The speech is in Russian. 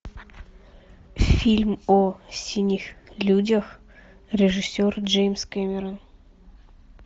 фильм о синих людях режиссер джеймс кэмерон